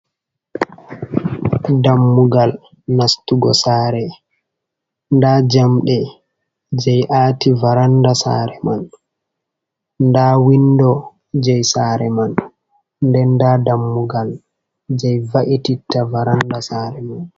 Dammugal nastugo saare, nda jamdi jei aati varanda sare man, nda windo jei saare man, nden nda dammugal jei va’ititta varanda saare man.